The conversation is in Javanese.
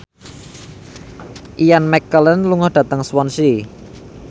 Ian McKellen lunga dhateng Swansea